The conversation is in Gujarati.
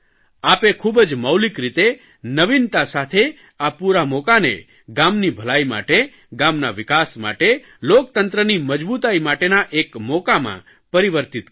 આપે ખૂબ જ મૌલિક રીતે નવિનતા સાથે આ પૂરા મોકાને ગામની ભલાઇ માટે ગામના વિકાસ માટે લોકતંત્રની મજબૂતાઇ માટેના એક મોકામાં પરિવર્તિત કર્યો